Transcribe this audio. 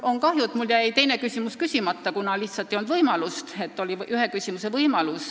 On kahju, et mul jäi teine küsimus esitamata – lihtsalt ei olnud võimalust, esitada sai ühe küsimuse.